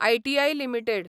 ITI limited